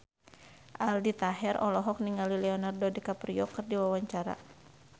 Aldi Taher olohok ningali Leonardo DiCaprio keur diwawancara